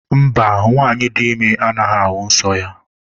Mba, nwanyị dị ime anaghị ahụ nsọ ya.